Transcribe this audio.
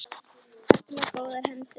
Ertu með góðar hendur?